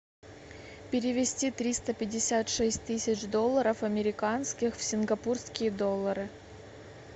перевести триста пятьдесят шесть тысяч долларов американских в сингапурские доллары